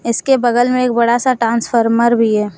इसके बगल में एक बड़ा सा ट्रांसफार्मर भी है।